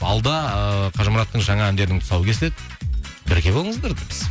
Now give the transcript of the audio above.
алда ыыы қажымұраттың жаңа әндерінің тұсау кесіледі бірге болыңыздар дейміз